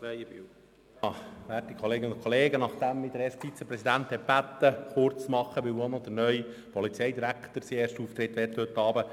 Der erste Vizepräsident hat mich gebeten, mich kurz zu fassen, weil heute Abend auch der neue Polizeidirektor seinen ersten Auftritt hat.